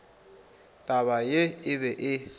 taba ye e be e